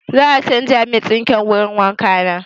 Za a canza min sinkin wurin wanka na.